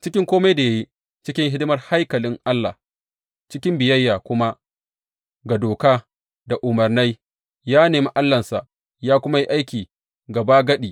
Cikin kome da ya yi cikin hidimar haikalin Allah, cikin biyayya kuma ga doka da umarnai, ya nemi Allahnsa, ya kuma yi aiki gabagadi.